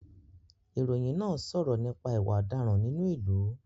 Ìròyìn náà ń sọ̀rọ̀ nípa ìwà ọ̀daràn nínú ìlú